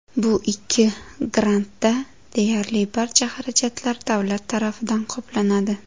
Bu ikki grantda deyarli barcha xarajatlar davlat tarafidan qoplanadi.